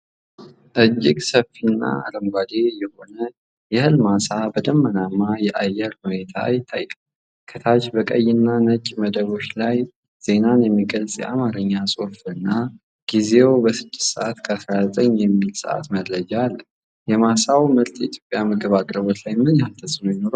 እጅግ ሰፊና አረንጓዴ የሆነ የእህል ማሳ በደመናማ የአየር ሁኔታ ይታያል። ከታች በቀይና ነጭ መደቦች ላይ ዜናን የሚገልጽ የአማርኛ ጽሑፍና ጊዜው 06፡19 የሚል የሰዓት መረጃ አለ። የማሳው ምርት በኢትዮጵያ የምግብ አቅርቦት ላይ ምን ያህል ተጽዕኖ ይኖረዋል?